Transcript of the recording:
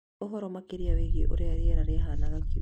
He ũhoro makĩria wĩgiĩ ũrĩa rĩera rĩahaanaga kiumia gĩkĩ?.